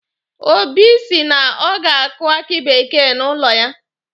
Obi si na ọ ga-akụ aki bekee n'ụlọ ya.